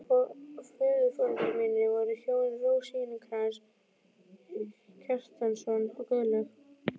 Föðurforeldrar mínir voru hjónin Rósinkrans Kjartansson og Guðlaug